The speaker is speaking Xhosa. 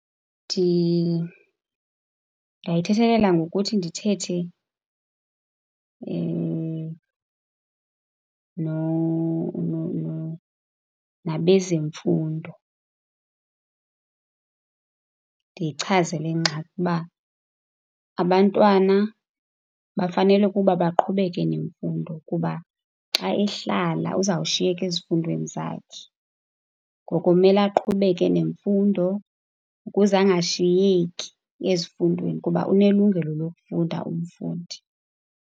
Ndingayithethelela ngokuthi ndithethe nabezemfundo. Ndiyichaze le ngxaki uba abantwana bafenele ukuba baqhubeke nemfundo kuba xa ehlala, uzawushiyeka ezifundweni zakhe. Ngoko kumele aqhubeke nemfundo ukuze angashiyeki ezifundweni kuba unelungelo lokufunda umfundi.